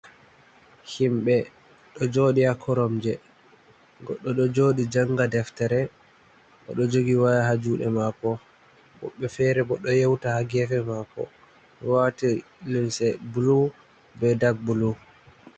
Himɓe, ɗo jooɗi haa Koromje, goɗɗo ɗo jooɗi jannga deftere, o ɗo jogi Waya haa juuɗe maako woɓɓe feere bo ɗo yewta haa geefe maako waati linse bulu bee dak-bulu.